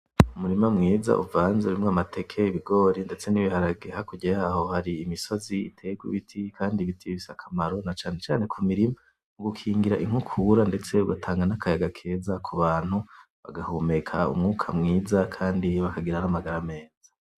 Umurima mwiza uvanzemwo amateke, ibigori, ndetse n’ibiharage hakurya yaho hari imisozi iteweko ibiti Kandi ibiti bifise akamaro na cane cane ku mirima, mu gukingira inkukura ndetse ugatanga n’akayaga keza ku bantu bagahumeka umwuka mwiza Kandi bakagira n’amagara meza.